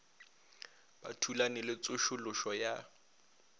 ba thulane le tsošološo ya